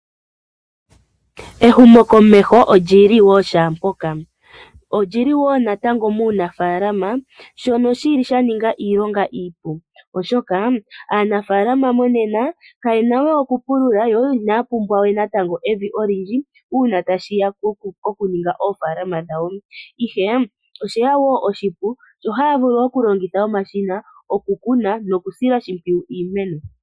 Ehumokomeho oli li shaampoka. Oli li natango muunafaalama shono sha ninga iilonga iipu, oshoka aanafaalama monena kaye na we okupulula yo inaya pumbwa we evi olindji uuna tashi ya pokuninga oofaalama dhawo, ihe osha ninga wo oshipu sho haya vulu okulongitha omashina okukuna nokusila oshimpwiyu iimeno.